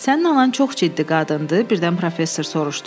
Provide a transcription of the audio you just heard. Sənin anan çox ciddi qadındır, birdən professor soruştu.